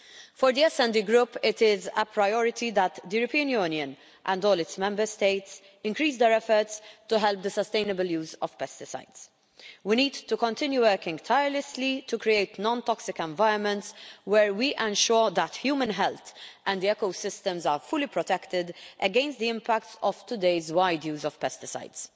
For the SD Group it is a priority that the European Union and all its Member States increase their efforts to help the sustainable use of pesticides. We need to continue working tirelessly to create non toxic environments where we ensure that human health and ecosystems are fully protected against the impact of today's wide use of pesticides.